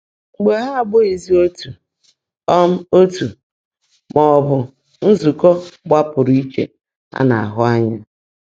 Mà há ábụ́ghị́zí ótú um ọ̀tú́, má ọ́ bụ́ nzụ́kọ́ gbàpú́rụ́ íchè á ná-áhụ́ ányá.